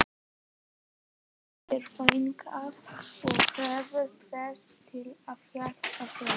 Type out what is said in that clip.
Flýttu þér þangað og fáðu prestinn til að hjálpa þér.